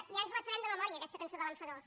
ja ens la sabem de memòria aquesta cançó de l’enfadós